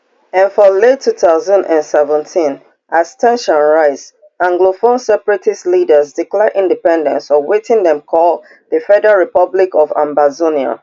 and for late two thousand and seventeen as ten sions rise anglophone separatist leaders declare independence for wetin dem call di federal republic of ambazonia